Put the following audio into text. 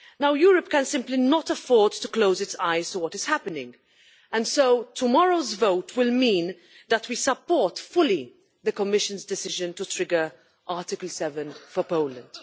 Europe simply cannot afford to close its eyes to what is happening and so tomorrow's vote will mean that we fully support the Commission's decision to trigger Article 7 for Poland.